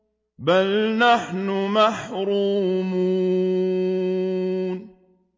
بَلْ نَحْنُ مَحْرُومُونَ